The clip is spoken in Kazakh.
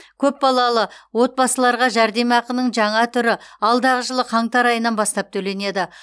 көпбалалы отбасыларға жәрдемақының жаңа түрі алдағы жылы қаңтар айынан бастап төленеді